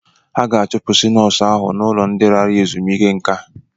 Ha ga-achụpụ nọọsụ ahụ n'ụlọ ndị lara ezumike nka.